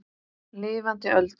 Lifandi Öldu.